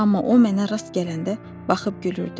Amma o mənə rast gələndə baxıb gülürdü.